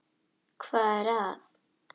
Hvað er að?